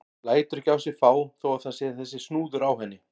Lætur ekki á sig fá þó að það sé þessi snúður á henni.